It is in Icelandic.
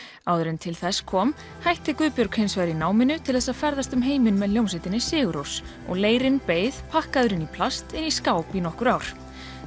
áður en til þess kom hætti Guðbjörg í náminu til þess að ferðast um heiminn með hljómsveitinni sigur Rós og leirinn beið pakkaður inn í plast í skáp í nokkur ár